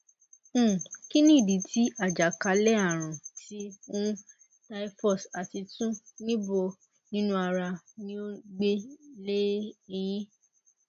um kini idi ti ajakalearun ti um typhus ati tun nibo ninu ara ni o gbe le eyin